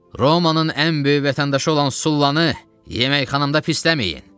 Romanın ən böyük vətəndaşı olan Sullanı yeməkxanamda pisəməyin.